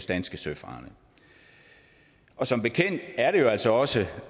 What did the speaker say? danske søfarende og som bekendt er det jo altså også